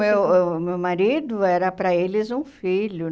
o meu o meu marido era pra eles um filho,